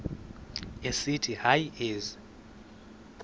esithi hayi ezi